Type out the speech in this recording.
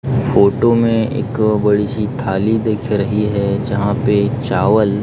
photo में एक बड़ी सी थाली दिख रही है जहां पे चावल--